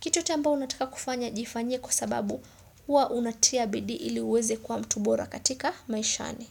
Kitu yoyote ambayo unataka kufanya jifanyie kwa sababu huwa unatia bidii ili uweze kuwa mtu bora katika maishani.